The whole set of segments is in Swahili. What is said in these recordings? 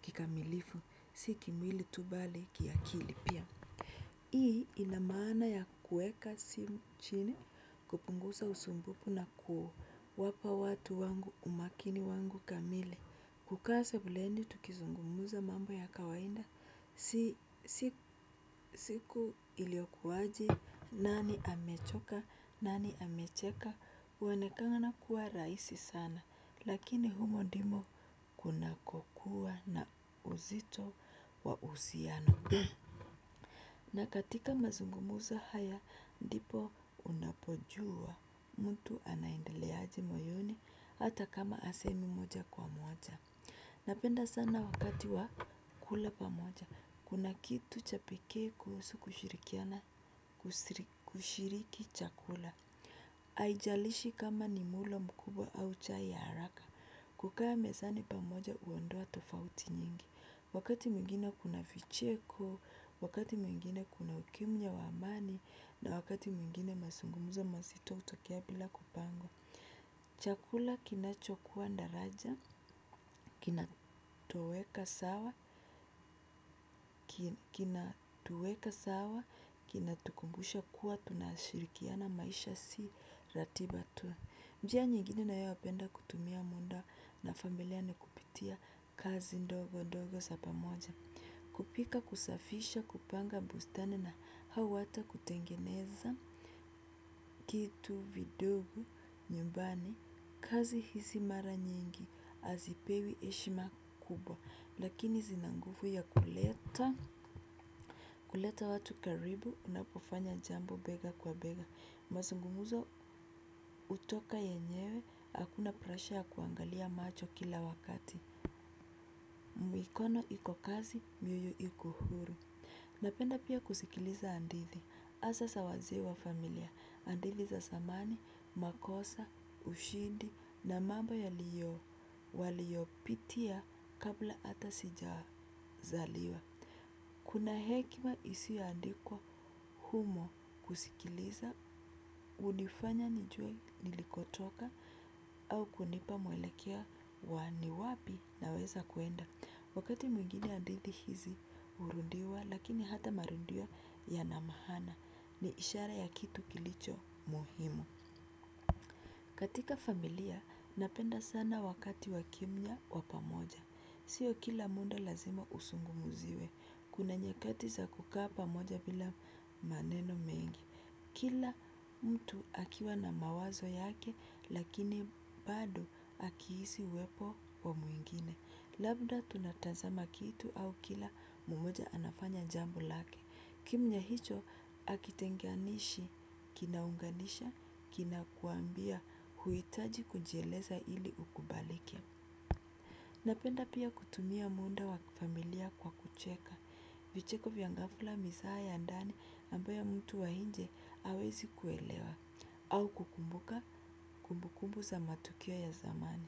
kikamilifu. Siki mwili tubali kiakili pia. Hii inamana ya kueka sim chini kupungusa usumbupu na kuo wapa watu wangu umakini wangu kamili. Kukaa sebuleni tukizungumuza mambo ya kawaida, siku iliokuwaji nani amechoka, nani amecheka, uanekanga nakuwa raisi sana, lakini humo dimo kuna kokuwa na uzito wa usiano. Na katika mazungumuza haya, dipo pojua mtu anaindeleaji moyoni hata kama asemi mmoja kwa. Napenda sana wakati wa kula pamoja. Kuna kitu cha pekee kuhusu kushiriki chakula. Aijalishi kama ni mulo mkubwa au chai ya haraka. Kukaa mezani pamoja uondoa tofauti nyingi. Wakati mwingine kuna vicheko, wakati mwingine kuna ukimya wa amani na wakati mwingine mazungumzo mazito hutokea. Chakula kinachokuwa ndaraja, kinatueka sawa, kinatukumbusha kuwa tunashirikiana maisha si ratiba tu. Njia nyigine na yawapenda kutumia munda na familia ni kupitia kazi ndogo ndogo sa pamoja. Kupika kusafisha kupanga bustani na hau ata kutengeneza kitu vidogo nyumbani. Kazi hisi mara nyingi azipewi eshima kubwa. Lakini zina ngufu ya kuleta kuleta watu karibu unapo fanya jambo bega kwa bega. Mazungumuzo utoka yenyewe akuna presha ya kuangalia macho kila wakati mikono iko kazi mioyo iko huru. Napenda pia kusikiliza andithi. Asa sa wazee wa familia, andithi za samani, makosa, ushindi na mambo yaliyo, waliopitia kabla ata sijawa zaliwa. Kuna hekima isi yaandikwa humo kusikiliza, unifanya nijue nilikotoka au kunipa mwelekeo wa ni wapi naweza kuenda. Wakati mwingine adidhi hizi urundiwa lakini hata marundiwo yana mahana ni ishara ya kitu kilicho muhimu. Katika familia napenda sana wakati wakimya wa pamoja. Sio kila muda lazima usungumuziwe. Kuna nyskati za kukaa pamoja bila maneno mengi. Kila mtu akiwa na mawazo yake lakini bado akiisi uwepo wa mwingine. Labda tunatazama kitu au kila mumoja anafanya jambo lake. Kimya hicho akitenganishi, kinaunganisha, kina kuambia huitaji kujieleza ili ukubalike. Napenda pia kutumia munda wa familia kwa kucheka. Vicheko via ngafula misaha ya ndani ambaye mtu wa inje awezi kuelewa. Au kukumbuka kumbu kumbu za matukio ya zamani.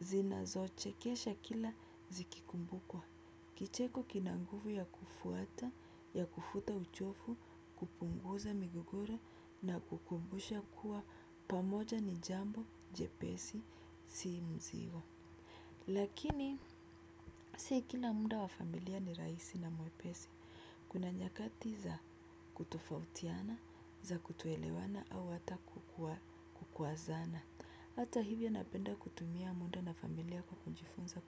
Zinazo chekesha kila zikikumbukwa. Kicheko kina nguvu ya kufuata, ya kufuta uchofu, kupunguza migogoro na kukumbusha kuwa pamoja ni jambo jepesi si mziwa. Lakini si kila munda wa familia ni raisi na mwepesi. Kuto elewana kutofautiana. Hata hivyo napenda kutumia muda na familia kwa kujifunza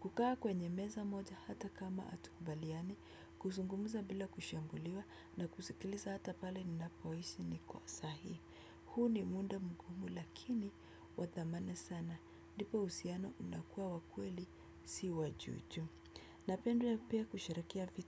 kukaa kwenye meza moja hata kama hatukubaliani, kuzungumza bila kushambuliwa na kusikiliza hata pale ninapoishi ni kwa sahi. Huu ni muda mgumu lakini wa dhamana sana. Ndipo uhusiano unakuwa wa kweli si wa juu juu. Napenda pia kusherehekea pia.